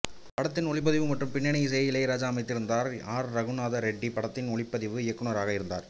படத்தின் ஒலிப்பதிவு மற்றும் பின்னணி இசையை இளையராஜா அமைத்திருந்தார் ஆர் இரகுநாத ரெட்டி படத்தின் ஒளிப்பதிவு இயக்குநராக இருந்தார்